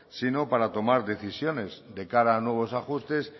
sino para tomar decisiones de cara a nuevos ajustes